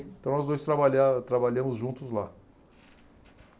Então, nós dois trabalha trabalhamos juntos lá.